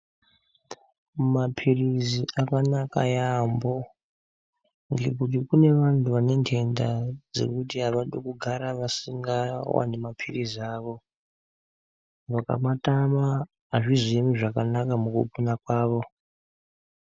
Mapirizi akanaka yaamho ngekuti kune vantu vane ntenta dzekuti avadi kugara vasinga wani mapirizi avo vakamatama azvizoemi zvakanaka mukugwinya kwavo.